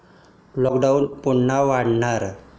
Lockdown पुन्हा वाढणार?